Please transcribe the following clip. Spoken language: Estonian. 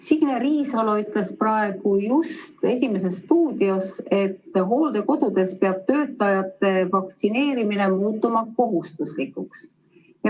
Signe Riisalo ütles just praegu "Esimeses stuudios", et hooldekodudes peab töötajate vaktsineerimine muutuma kohustuslikuks.